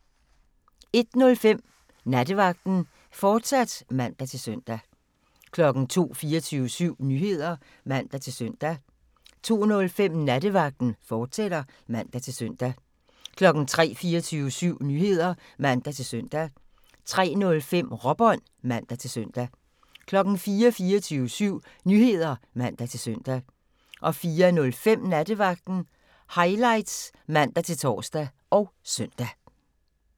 01:05: Nattevagten, fortsat (man-søn) 02:00: 24syv Nyheder (man-søn) 02:05: Nattevagten, fortsat (man-søn) 03:00: 24syv Nyheder (man-søn) 03:05: Råbånd (man-søn) 04:00: 24syv Nyheder (man-søn) 04:05: Nattevagten Highlights (man-tor og søn)